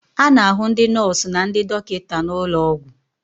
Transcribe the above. A na-ahụ ndị nọọsụ na ndị dọkịta n'ụlọ ọgwụ.